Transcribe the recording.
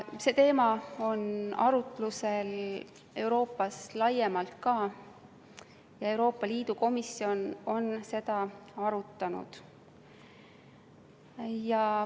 See teema on arutlusel Euroopas laiemalt ka ja Euroopa Liidu komisjon on seda arutanud.